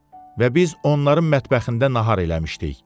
Və biz onların mətbəxində nahar eləmişdik.